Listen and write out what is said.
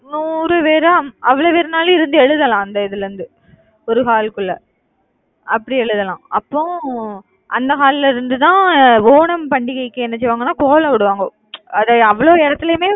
நூறு பேரா அவ்வளவு பேருனாலும் இருந்து எழுதலாம் அந்த இதுல இருந்து ஒரு hall க்குள்ள அப்படி எழுதலாம், அப்போ அந்த hall ல இருந்து தான் அஹ் ஓணம் பண்டிகைக்கு என்ன செய்வாங்கன்னா கோலம் போடுவாங்க அதை அவ்வளவு இடத்திலேயுமே